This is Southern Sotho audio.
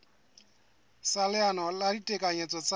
sa leano la ditekanyetso tsa